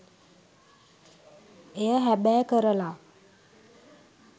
එය හැබෑ කරලා.